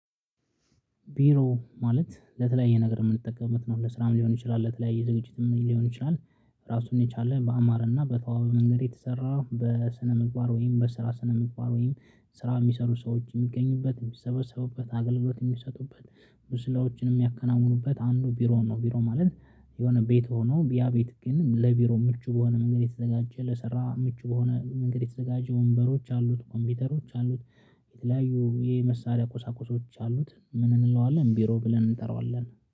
ቢሮ ማለት ለተለያየ ነገር የምንጠምበት ነው። ስራም ሊሆን ይችላል፤ ለተለያየ ዝግጅትም ሊሆን ይችላል። ራሱን የቻለ በአማረና በተዋበ መንገድ የተሰራ በስነ ምግባር ወይም በስራ ስነ ምግባር ወይም ስራ የሚሰሩ ሰዎች የሚገኙበት የሚሰበሰቡበት አገልግሎት የሚሰጡበት ብዙ ስራዎችን የሚያከናውኑበት አንዱ ቢሮ ነው። ቢሮ ማለት የሆነ ቤት ሆኖ ያ ቤት ግን ለቢሮ ምቹ በሆነ መንገድ የተዘጋጀ፤ ለሰራ ምቹ በሆነ መንገድ የተዘጋጀ ወንበሮች አሉት፤ ኮምፒውተሮች አሉት፤ የተለያዩ የመሳሪያ ቁሳቁሶች አሉት ምን እንለዋለን ቢሮ ብለን እንጠራዋለን።